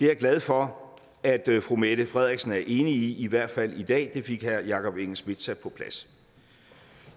jeg glad for at fru mette frederiksen er enig i i hvert fald i dag det fik herre jakob engel schmidt sat på plads